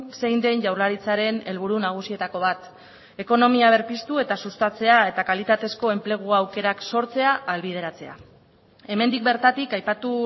zein den jaurlaritzaren helburu nagusietako bat ekonomia berpiztu eta sustatzea eta kalitatezko enplegu aukerak sortzea ahalbideratzea hemendik bertatik aipatu